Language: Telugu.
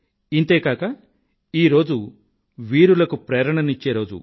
ఇంతే కాక ఈ రోజు వీరులకు ప్రేరణ నిచ్చే రోజు